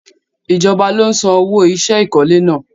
Ijọba lo n san owo iṣẹ́ ìkọ́lé náà